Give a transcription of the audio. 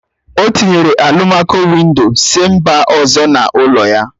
O tinyere alụmaco-windo si mba ọzọ n'ụlọ ya